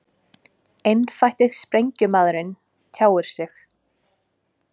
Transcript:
Einfætti sprengjumaðurinn tjáir sig